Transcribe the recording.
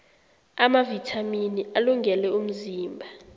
amavithamini alungele umzimba